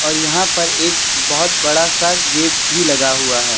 और यहां पर एक बहोत बड़ा सा गेट भी लगा हुआ है।